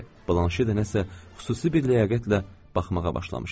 Blanşe də nəsə xüsusi bir ləyaqətlə baxmağa başlamışdı.